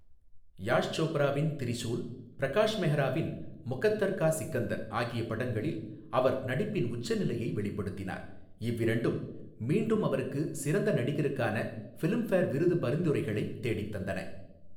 யாஷ் சோப்ராவின் திரிசூல், பிரகாஷ் மெஹ்ராவின் முகத்தர் கா சிக்கந்தர் ஆகிய படங்களில் அவர் நடிப்பின் உச்சநிலையை வெளிப்படுத்தினார், இவ்விரண்டும் மீண்டும் அவருக்கு சிறந்த நடிகருக்கான ஃபிலிம்ஃபேர் விருது பரிந்துரைகளை தேடித் தந்தன.